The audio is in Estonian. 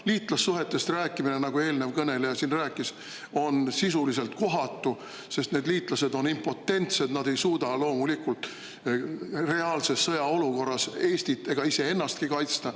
Liitlassuhetest rääkimine, nagu eelnev kõneleja siin rääkis, on sisuliselt kohatu, sest need liitlased on impotentsed, loomulikult nad ei suuda reaalses sõjaolukorras Eestit ega iseennastki kaitsta.